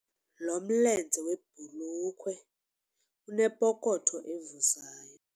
Lo mlenze webhulukhwe unepokotho evuzayo.